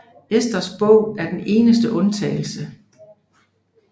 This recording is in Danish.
Esters bog er den eneste undtagelse